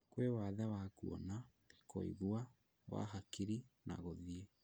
Gwi wathe wa kuona, kũigwa wa hakiri na gũthii